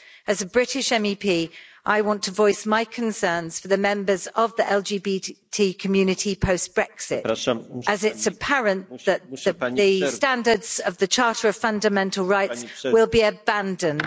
As a British MEP, I want to voice my concerns for the members of the LGBTI community post Brexit as it's apparent that the standards of the Charter of Fundamental Rights will be abandoned.